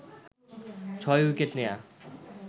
৬ wicket নেয়া